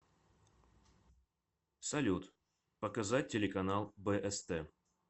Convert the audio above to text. салют показать телеканал бст